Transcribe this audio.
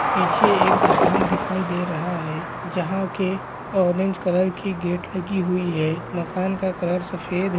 पीछे एक मकान दिखाई दे रहा है जहा के ऑरेंज कलर की गेट लगी हुई है मकान का कलर सफेद--